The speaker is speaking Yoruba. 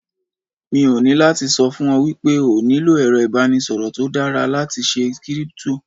Mo ní láti sọ fún ọ wípé o nílò èrọ ìbánisọ̀rọ̀ tó dára láti ṣe Kírípútò.